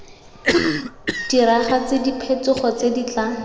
diragatse diphetogo tse di tla